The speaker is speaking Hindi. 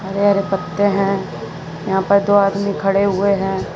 हरे हरे पत्ते हैं यहां पर दो आदमी खड़े हुए हैं।